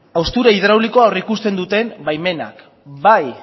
haustura hidraulikoa aurreikusten duten baimenak bai